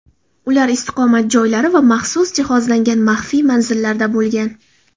Ular istiqomat joylari va maxsus jihozlangan maxfiy manzillarda bo‘lgan.